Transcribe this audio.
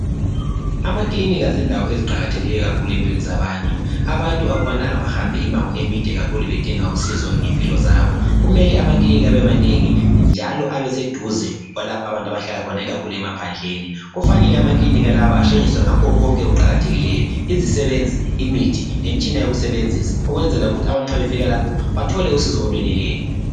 Amaclinic yindawo eqakathekileyo kakhulu empilweni zabantu abantu akufanelanga behambe imibango emide kakhulu amaclinikhi yindawo eqakathekileyo kakhulu empilweni zabantu abantu akufanelanga behambe imibango emide kakhulu bedinga usizo ngempilo zabo kumele amaclinikhi abemanengi njalo abeseduze lalapha abantu abahlala khona ikakhulu emaphadleni kufanele amaclinikhi lawe ehlonyiswe ngakho konke okuqakathekileyo